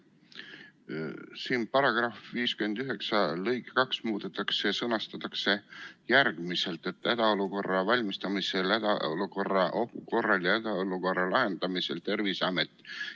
Siin § 59 lõiget 2 muudetakse ja see sõnastatakse järgmiselt: "Hädaolukorraks valmistumisel, hädaolukorra ohu korral ja hädaolukorra lahendamisel Terviseamet: ...